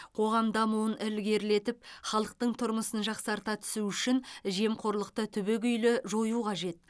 қоғам дамуын ілгерлетіп халықтың тұрмысын жақсарта түсу үшін жемқорлықты түбегейлі жою қажет